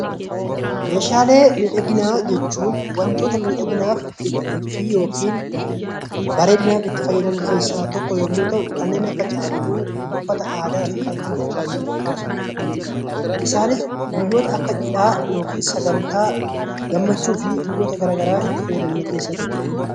Meeshaalee miidhaginaa jechuun wantoota miidhaginaaf itti fayyadamnu keessaa tokko yoo ta'u innis kanneen akka caaccuu, uffata aadaa fi kan kana fakkaatan kaasuun ni danda'ama. Isaanis guyyoota Akka cidhaa sagantaa gammachuu fi guyyoota garaagaraa itti fayyadaman